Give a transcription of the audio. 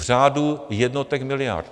V řádu jednotek miliard.